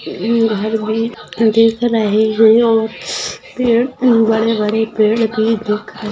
घर भी दिख रहे हैं और पेड़ बड़े बड़े पेड़ भी दिख रहे--